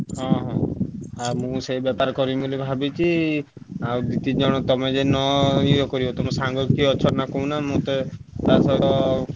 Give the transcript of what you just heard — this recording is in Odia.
ହଁ ହଁ ଆଉ ମୁଁ ସେଇ ବେପାର କରିମି ବୋଲି ଭାବିଛି ଆଉ ଦି ତିନ ଜଣ ତମେ ଯଦି ନ ଏ କରିବ ତମ ସାଙ୍ଗ କିଏ ଅଛନ୍ତି କହୁନ ମୁଁ ତ ।